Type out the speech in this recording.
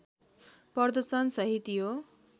प्रर्दशन सहित यो